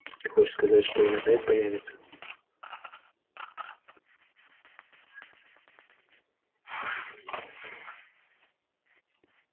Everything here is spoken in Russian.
ты хочешь сказать что он опять появится